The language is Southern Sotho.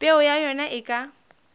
peo ya ona e ka